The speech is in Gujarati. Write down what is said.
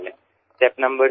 ત્રીજું પગલું